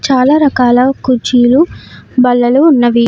చాలా రకాల కుర్చీలు బల్లలు ఉన్నవి.